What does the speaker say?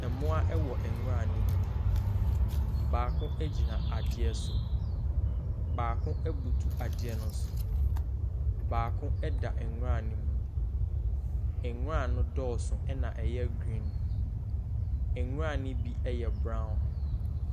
Ɛmbowa ɛwɔ nwura ne mu. Baako egyina adeɛ so, baako ebutu adeɛ ne so, baako ɛda nwura ne mu. Nwura no dɔɔso ɛna ɛyɛ grin, nwura ne bi ɛyɛ berawn.